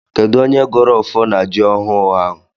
Kedụ onye gọrọ ọfọ na jị ọhụụ ahụ?